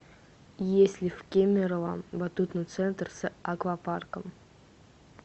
есть ли в кемерово батутный центр с аквапарком